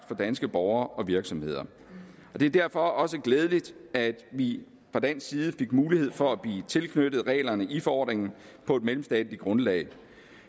for danske borgere og virksomheder det er derfor også glædeligt at vi fra dansk side fik mulighed for at blive tilknyttet reglerne i forordningen på et mellemstatsligt grundlag